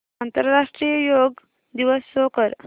आंतरराष्ट्रीय योग दिवस शो कर